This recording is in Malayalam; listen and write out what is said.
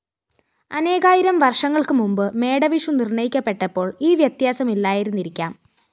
അനേകായിരം വര്‍ഷങ്ങള്‍ക്ക് മുമ്പ് മേടവിഷു നിര്‍ണയിക്കപ്പെട്ടപ്പോള്‍ ഈ വ്യത്യാസമില്ലായിരുന്നിരിക്കാം